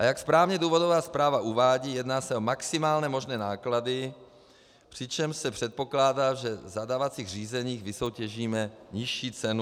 A jak správně důvodová zpráva uvádí, jedná se o maximálně možné náklady, přičemž se předpokládá, že v zadávacích řízeních vysoutěžíme nižší cenu.